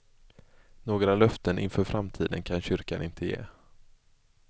Några löften inför framtiden kan kyrkan inte ge.